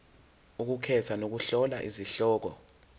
ukukhetha nokuhlola izihloko